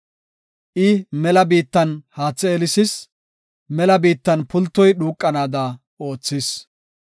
I mela biittan haathe eelisis; mela biittan pultoy dhuuqanaada oothis.